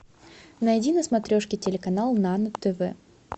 найди на смотрешке телеканал нано тв